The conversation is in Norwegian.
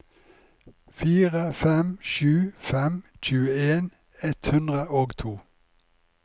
fire fem sju fem tjueen ett hundre og to